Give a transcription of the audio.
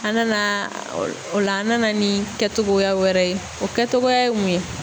an nana o l o la an nana ni kɛtogoya wɛrɛ ye. O kɛtogoya ye mun ye?